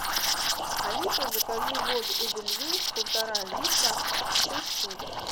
алиса закажи воду эдельвейс полтора литра шесть штук